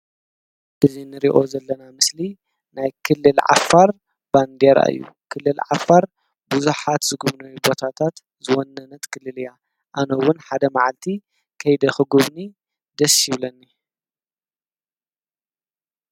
እዚ እንሪኦ ዘለና ምስሊ ናይ ክልል ዓፋር ባንዴራ እዩ፡፡ ክልል ዓፋር ብዙሓት ዝግውነዩ ቦታታት ዝወነነት ክልል እያ ኣነ እውን ከይደ ክጉብኒ ደስ ይብለኒ፡፡